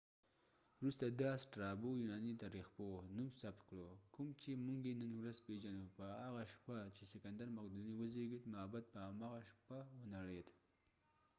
یوناني تاریخپوه strabo وروسته دا نوم ثبت کړو کوم چې موږ یې نن ورځ پیژنو په هاغه شپه چې سکندر مقدوني وزیږید معبد په هماغه شپه ونړید